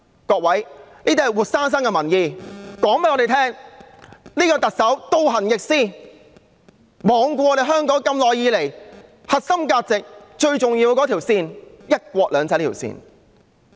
各位，這是活生生的民意，告訴我們這位特首倒行逆施，罔顧香港核心價值一直以來最重要的那條線，便是"一國兩制"這條線。